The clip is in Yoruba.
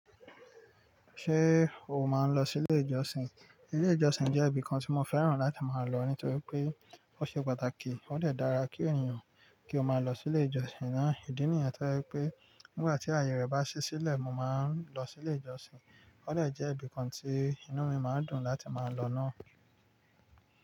Ṣé o máa ń lọ sí ilé ìjọsìn? Ilé ìjọsìn jẹ́ ibìkan tí mo fẹ́ràn láti máa lọ nítorí pé ó ṣe pàtàkì, ó dè dára kí ènìyàn kí ó máa lọ sí ilé ìjọsìn náà. Ìdí nìyẹn tó yẹ́ i pé nígbà tí ayẹyẹ bá ṣe sílẹ̀, mo máa ń lọ sí ilé ìjọsìn. Ó lè jẹ́ ibìkan tí inú mi máa ń dùn láti máa lọ náà.